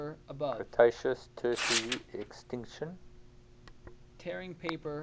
cretaceous tertiary extinction